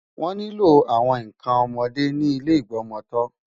Wọ́n nílò àwọn nǹkan ọmọdé ní ilé ìgbọmọtọ́.